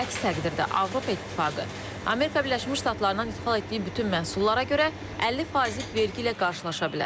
Əks təqdirdə Avropa İttifaqı Amerika Birləşmiş Ştatlarından idxal etdiyi bütün məhsullara görə 50% vergi ilə qarşılaşa bilər.